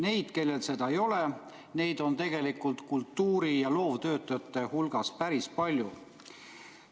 Neid, kellel seda ei ole, on kultuuri- ja loovtöötajate hulgas päris palju.